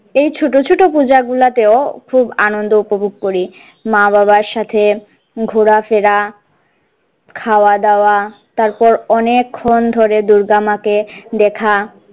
এই ছোটো ছোটো পূজা গুলাতেও খুব আনন্দ উপভোগ করি মা বাবার সাথে ঘুরা ফেরা খাওয়া দাওয়া তারপর অনেকক্ষণ ধরে দূর্গামা কে দেখা।